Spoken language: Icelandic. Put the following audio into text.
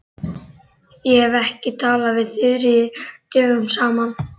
Ég hef ekki talað við Þuríði dögum saman.